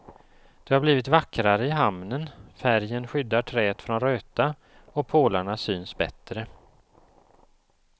Det har blivit vackrare i hamnen, färgen skyddar träet från röta och pålarna syns bättre.